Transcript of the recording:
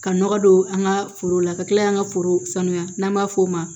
Ka nɔgɔ don an ka foro la ka kila an ka forow sanuya n'an b'a f'o ma